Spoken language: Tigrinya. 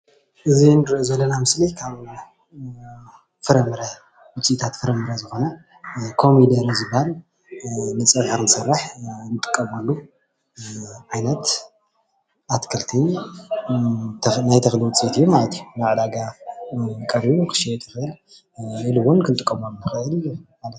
እዚ እንሪኦ ዘለና ምስሊ ካብ ፍረምረ ውፂኢታት ፍረምረ ዝኮነ ኮሚደረ እዩ ዝበሃል ንፀብሒ ክንሰርሕ ንጥቀመሉ ዓይነት እትክልቲ ናይ ተክሊ ውፅኢት እዩ ::ናብ ዕዳጋ ቀሪቡ ክሽየጥ ይክእል ኢሉ እውን ክንጥቀመሉ ንክእል::